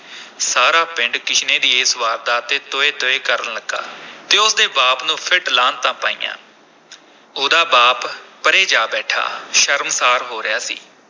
ਸਾਰਾ ਪਿੰਡ ਕਿਸ਼ਨੇ ਦੀ ਇਸ ਵਾਰਦਾਤ ’ਤੇ ਤੋਏ-ਤੋਏ ਕਰਨ ਲੱਗਾ ਤੇ ਉਸ ਦੇ ਬਾਪ ਨੂੰ ਫਿਟ-ਲਾਹਨਤਾਂ ਪਾਈਆ ਉਹਦਾ ਬਾਪ ਪਰ੍ਹੇ ਜਾ ਬੈਠਾ ਸ਼ਰਮਸ਼ਾਰ ਹੋ ਰਿਹਾ ਸੀ।